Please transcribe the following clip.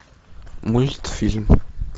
мультфильм